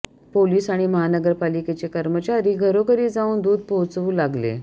police आणि महानगरपालिकेचे कर्मचारी घरोघरी जाऊन दूध पोहोचवू लागले